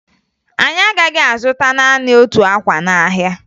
Anyị agaghị azụta naanị otu akwa n'ahịa